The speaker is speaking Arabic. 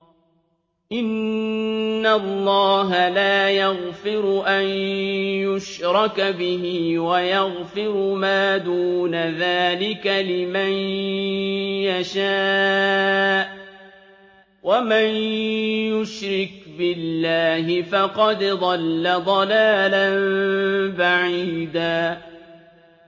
إِنَّ اللَّهَ لَا يَغْفِرُ أَن يُشْرَكَ بِهِ وَيَغْفِرُ مَا دُونَ ذَٰلِكَ لِمَن يَشَاءُ ۚ وَمَن يُشْرِكْ بِاللَّهِ فَقَدْ ضَلَّ ضَلَالًا بَعِيدًا